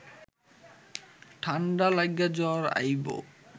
ঠাণ্ডা লাইগা জ্বর আইব